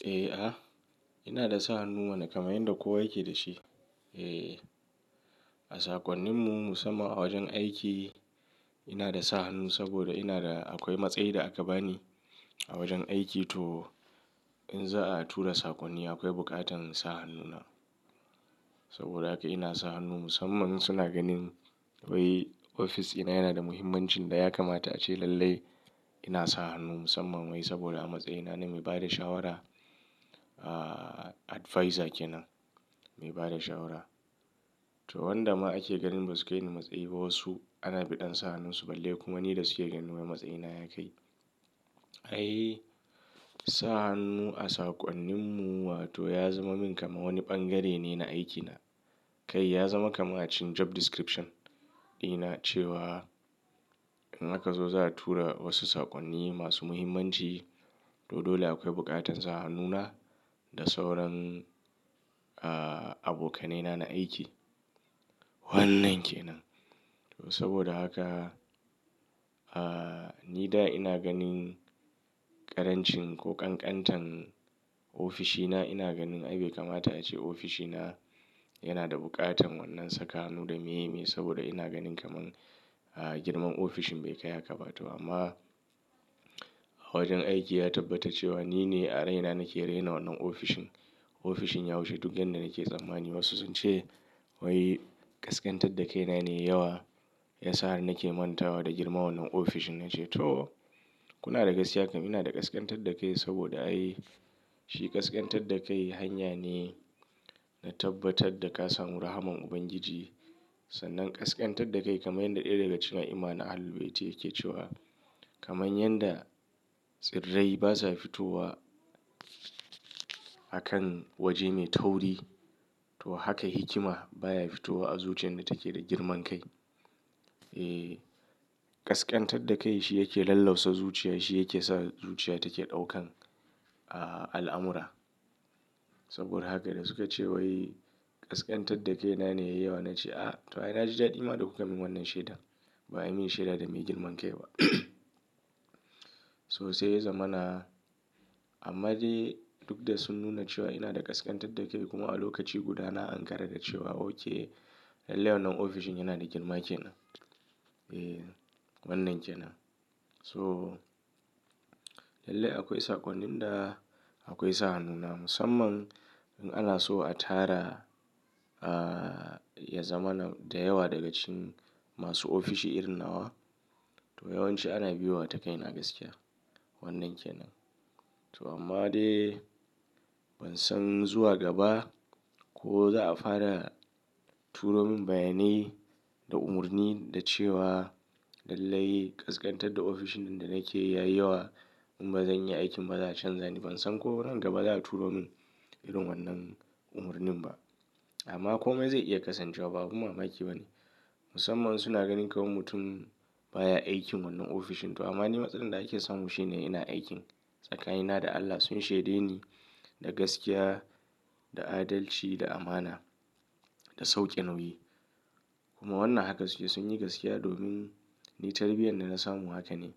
Eh, a ina da sa hannu mana kamar yanda kowa yake da shi. Eh, a sakonninmu musamman a wajen aiki ina da sa hannu saboda ina da akwai matsayi da aka bani a wajen aiki to in za'a tura sakonni akwai buƙatar in sa hannuna. Saboda haka ina sa hannu musamman suna ganin wai ofis dina yana da muhimmancin da ya kamata ace lallai ina sa hannu musamman wai saboda a matsayina na mai ba da shawara, ah advisor kenan mai ba da shawara. To wanda ma ake ganin ba su kai ni matsayi ba wasu ana biɗan sa hannunsu balle kuma ni da suke ganin wai matsayina ya kai. Ai I sa hannu a sakonninmu wato ya zama min kamar wani bangare ne na aikina. Kai ya zama kamar cin job description dina cewa in aka zo za'a tura wasu sakonni masu muhimmanci to dole akwai buƙatar sa hannuna da sauran ah abokanaina na aiki. Wannan kenan. To saboda haka ah ni da ina ganin ƙarancin ko kankantan ofishina ina ganin ai bai kamata ace ofishina yana da buƙatan wannan saka hannu da me me saboda ina ganin kamar girman ofishin bai kai haka ba to amma a wajen aiki ya tabbata cewa ni ne a raina nake raina wannan ofishin. Ofishin ya wuchi duk wanda nake tsammani wasu sun ce wai ƙasƙantar da kai na ne yai yawa ya sa nake manta wa da girman wannan ofishin. Na ce to kuna da gaskiya kam ina da ƙasƙantar da kai saboda ai shi ƙasƙantar da kai hanya ne na tabbatar da ka samu rahman Ubangiji. Sannan ƙasƙantar da kai kamar yadda ɗaya daga cikin a'imma na Ahlul Bayti yake cewa kamar yanda tsirrai basa fitowa a kan waje mai tauri to haka hikima baya fitowa a zuciyar da take da girman kai. Eh ƙasƙantar da kai shi yake lallausa zuciya shi yake sa zuciya take ɗaukan al'amura. Saboda haka da suka ce wai ƙasƙantar da kai na ne yai yawa na ce a to ai na ji daɗi ma da kuka min wannan shaidan ba a yi mini shaida da mai girman kai ba. So sai ya zama na amma dai duk da sun nuna cewa ina da ƙasƙantar da kai kuma a lokaci guda na ankara da cewa okay lallai wannan ofishin yana da girma kenan. Eh wannan kenan. So lallai akwai sakonnin da akwai sa hannuna musamman in ana so a tara ah ya zama na da yawa daga cikin masu ofishi irin nawa to yawanci ana biyowa ta kai na gaskiya. Wannan kenan. To amma dai ban san zuwa gaba ko za'a fara turo min bayanai da umarni da cewa lallai ƙasƙantar da ofishin da nake ya yi yawa in ba zan yi aikin ba za a canza ni. Ban san ko nan gaba za'a turo min irin wannan umarnin ba. Amma kome zai iya kasancewa ba abun mamaki bane. Musamman suna ganin kamar mutum baya aikin wannan ofishin to amma ni matsalan da ake samu shine ina aikin tsakanina da Allah sun shaide ni da gaskiya, da adalci, da amana, da sauƙe nauyi. Kuma wannan haka su ke sun yi gaskiya domin ni tarbiyyar da na samu haka ne.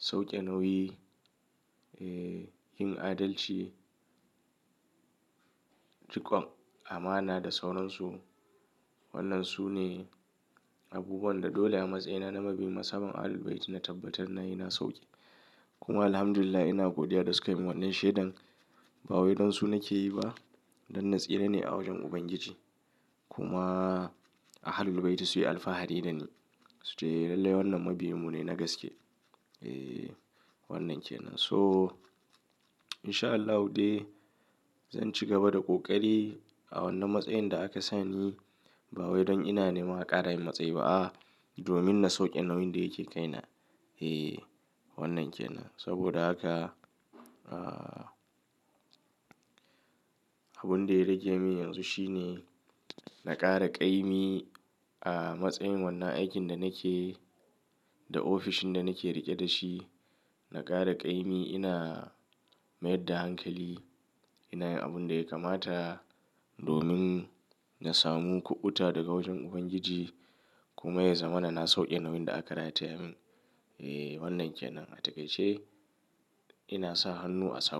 Sauƙe nauyi, eh yin adalci, riƙon amana da sauransu. Wannan su ne abubuwan da dole a matsayina na mabiyin masamman Ahlul Bayti na tabbatar na yi na sauƙe. Kuma Alhamdulillah ina godiya da sukayi min wannan shaidan ba wai don su nake yi ba dan natsira ne a wajen Ubangiji. Kuma a Ahlul Bayti su yi alfahari da ni. Su ce a lallai wannan mabiyinmu ne na gaske. Eh wannan kenan. So in sha Allahu dai zan ci gaba da ƙoƙari a wannan matsayin da aka sani ba wai don ina neman a ƙara min matsayi ba a'a domin na sauƙe nauyin da yake kai na. Eh wannan kenan. Saboda haka ah abun da ya rage min yanzu shi ne na ƙara ƙaimi a matsayin wannan aikin da nake da ofishin da nake riƙe da shi. Na ƙara ƙaimi ina mayar da hankali ina yin abun da ya kamata domin na samu kuɓuta daga wajen Ubangiji kuma ya zamana na sauƙe nauyin da aka rataya min. Eh wannan kenan. Atakaice ina sa hannu a sakonnin.